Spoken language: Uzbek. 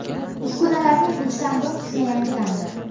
Uskunalarning uchdan bir qismi yangilandi.